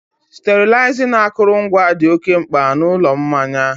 sterilizing akụrụngwa dị oke mkpa na a Ụlọ Mmanya